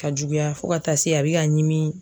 Ka juguya fo ka taa se a bɛ ka ɲimi